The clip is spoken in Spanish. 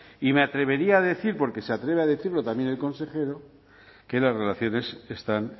y me atrevería a decir porque se atreve a decirlo también el consejero que las relaciones están